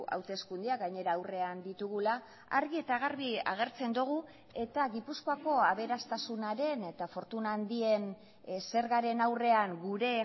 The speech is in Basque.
hauteskundeak gainera aurrean ditugula argi eta garbi agertzen dugu eta gipuzkoako aberastasunaren eta fortuna handien zergaren aurrean gure